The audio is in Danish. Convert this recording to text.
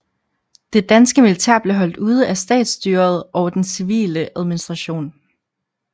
Det danske militær blev holdt ude af statsstyret og den civile administration